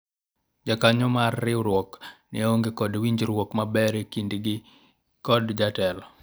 jokanyo mar riwruok ne onge kod winjruok maber e kindgi kod jotelo